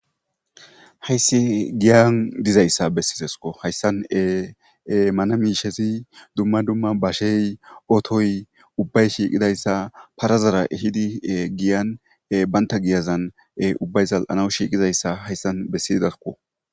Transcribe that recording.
Hayis giyani dizayisa besidesiko hayisani ey manna mishezi duma duma basheyi otoyi ubayi shiqidayisa parazara ehidi ey giyani bata giyazani ubayi za7anawu shiqidaysa hayisan besidesiko